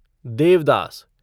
Devdas